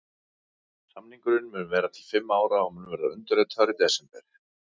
Samningurinn mun vera til fimm ára og mun verða undirritaður í desember.